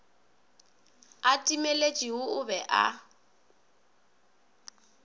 a timeletše o be a